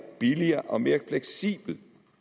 billigere og mere fleksibel